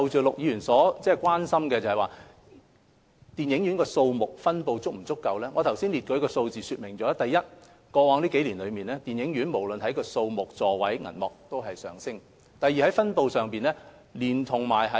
陸議員關注電影院數目及分布是否足夠，我剛才列舉的數字已經說明，第一，過去數年，電影院的數目、座位及銀幕數字均有上升。